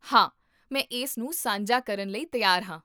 ਹਾਂ, ਮੈਂ ਇਸ ਨੂੰ ਸਾਂਝਾ ਕਰਨ ਲਈ ਤਿਆਰ ਹਾਂ